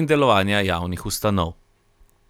in delovanja javnih ustanov.